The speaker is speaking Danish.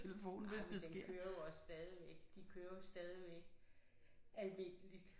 Jamen den kører jo også stadigvæk de kører jo stadigvæk almindeligt